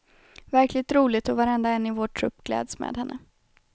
Verkligen roligt och varenda en i vår trupp gläds med henne.